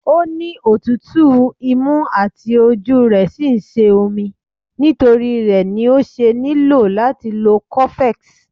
O ni otutu, imu àti ojú re sí ń sé omí, nitori ré ní o ṣe niló àti lò cofex.